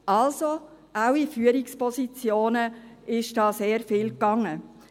Also: Auch in Führungspositionen ist da sehr viel geschehen.